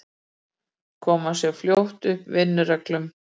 Kom sér fljótt upp vinnureglum.